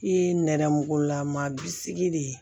I ye nɛrɛmugulama bisigi de